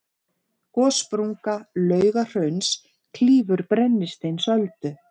gossprunga laugahrauns klýfur brennisteinsöldu